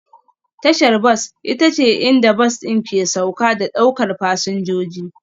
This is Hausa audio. Tashar bas ita ce inda bas ɗin ke sauka da ɗaukar fasinjoji